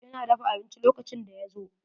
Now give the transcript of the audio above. Ina dafa abinci lokacin da ya zo.